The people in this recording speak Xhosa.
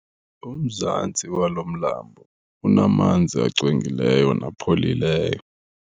Umzantsi walo mlambo unamanzi angcwengileyo napholileyo.